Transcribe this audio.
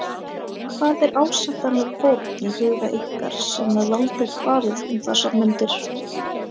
Hvað er ásættanleg fórn í huga ykkar sem með valdið farið um þessar mundir?